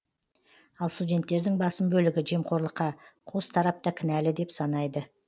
ал студенттердің басым бөлігі жемқорлыққа қос тарап та кінәлі деп санайды